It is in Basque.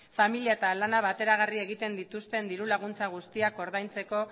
familia eta lana bateragarri egiten dituzten diru laguntza guztiak ordaintzeko